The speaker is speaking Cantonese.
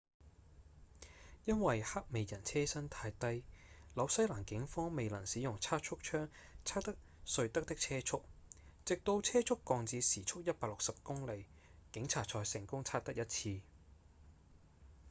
因為黑美人車身太低紐西蘭警方未能使用測速槍測得瑞德的車速直到車速降至時速160公里警察才成功測得一次